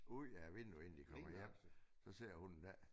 Ud af vinduet inden de kommer hjem så ser hun det ikke